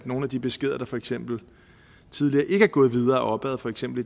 nogle af de beskeder der for eksempel tidligere ikke er gået videre opad for eksempel